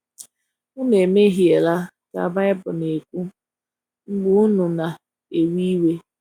ụnụ emehiela ka Bibụlụ na - ekwụ, mgbe unu na - ewe iwe..